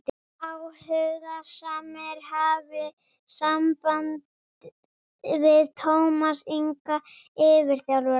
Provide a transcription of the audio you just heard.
Áhugasamir hafi samband við Tómas Inga yfirþjálfara.